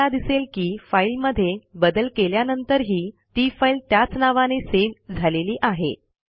तुम्हाला दिसेल की फाईलमध्ये बदल केल्यानंतरही ती फाईल त्याच नावाने सेव्ह झालेली आहे